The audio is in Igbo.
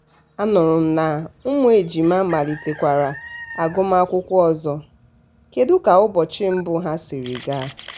a nụrụ m na ụmụ ejima malitekwara agụmakwụkwọ ọzọ kedu ka ụbọchị mbụ ha siri gaa?